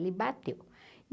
Ele bateu.